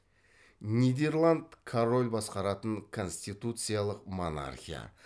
нидерланд король басқаратын конституциялық монархия